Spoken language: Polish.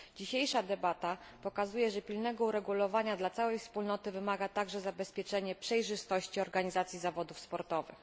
Dzisiejsza debata pokazuje, że pilnego uregulowania dla całej Wspólnoty wymaga także zabezpieczenie przejrzystości organizacji zawodów sportowych.